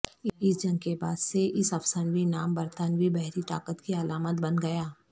اس جنگ کے بعد سے اس افسانوی نام برطانوی بحری طاقت کی علامت بن گیا